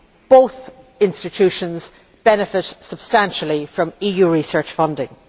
Both institutions benefit substantially from EU research funding.